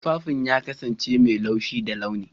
Tufafin ya kasance mai laushi da launi.